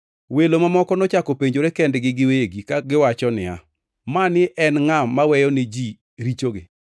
Welo mamoko nochako penjore kendgi giwegi kawacho niya, “Mani en ngʼa maweyo ne ji richogi?”